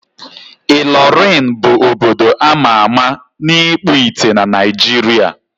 Ịlọrịn bụ obodo a ma ama na ịkpụ ite na Naịjiria.